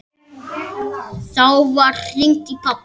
Þá var hringt í pabba.